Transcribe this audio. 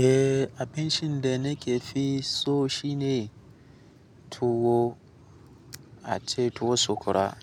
Eh, abincinde na ke fi so shine tuwo, ace tuwo sokora.